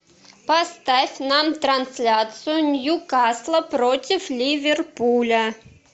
поставь нам трансляцию ньюкасла против ливерпуля